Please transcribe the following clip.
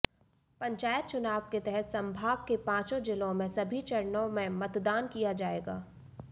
पंचायत चुनाव के तहत संभाग के पांचों जिलों में सभी चरणों में मतदान किया जाएगा